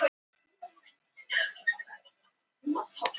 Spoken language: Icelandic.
Þeir hafa aldrei orðið vitni að jafn heitum og jafn tíðum ástum.